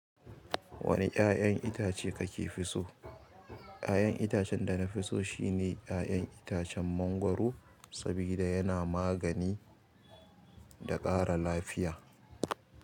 Wane ya'yan itace kake fi so? Ya'yan itacen da na fi so shine ya'yan itacen mangwaro, saboda yana magani da ƙara lafiya.